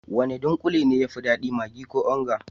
Wane dunkule ne ya fi dadi, maggi ko onga?